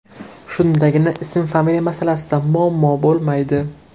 Shundagina ism-familiya masalasida muammo bo‘lmaydi.